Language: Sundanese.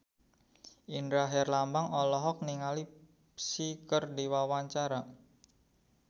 Indra Herlambang olohok ningali Psy keur diwawancara